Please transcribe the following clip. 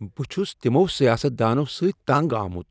بہٕ چُھس تِمو سیاست دانو سۭتۍ تنگ آمت